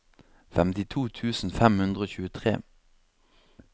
femtito tusen fem hundre og tjuetre